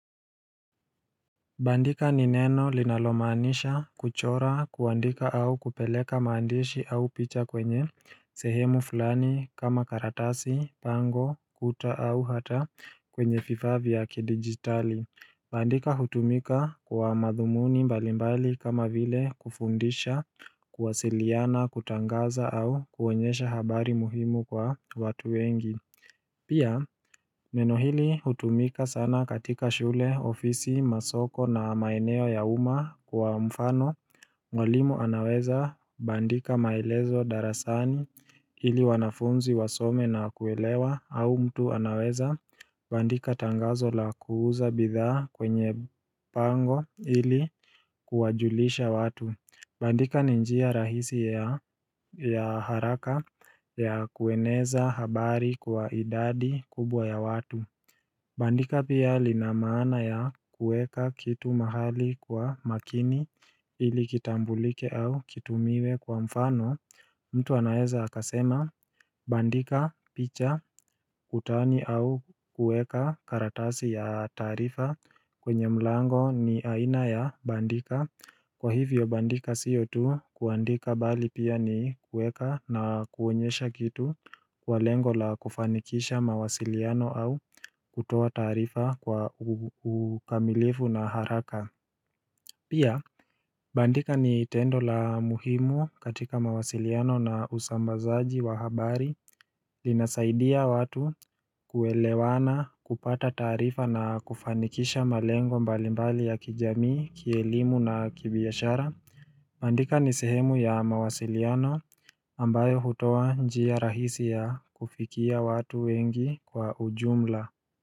Bandika ni neno linalomaanisha kuchora kuandika au kupeleka maandishi au picha kwenye sehemu fulani kama karatasi, pango, kuta au hata kwenye vifaa vya kidigitali Bandika hutumika kwa madhumuni mbali mbali kama vile kufundisha, kuwasiliana, kutangaza au kuonyesha habari muhimu kwa watu wengi Pia, neno hili hutumika sana katika shule, ofisi, masoko na maeneo ya uma kwa mfano Mwalimu anaweza bandika maelezo darasani ili wanafunzi wasome na kuelewa au mtu anaweza Bandika tangazo la kuuza bidha kwenye pango ili kuwajulisha watu Bandika ni njia rahisi ya haraka ya kueneza habari kwa idadi kubwa ya watu Bandika pia lina maana ya kueka kitu mahali kwa makini ilikitambulike au kitumiwe kwa mfano mtu anaeza akasema bandika picha kutani au kueka karatasi ya tarifa kwenye mlango ni aina ya bandika Kwa hivyo bandika sio tu kuandika bali pia ni kueka na kuonyesha kitu kwa lengo la kufanikisha mawasiliano au kutoa tarifa kwa ukamilifu na haraka Pia bandika ni tendo la muhimu katika mawasiliano na usambazaji wa habari linasaidia watu kuelewana kupata tarifa na kufanikisha malengo mbalimbali ya kijamii, kielimu na kibiashara bandika nisehemu ya mawasiliano ambayo hutoa njia rahisi ya kufikia watu wengi kwa ujumla.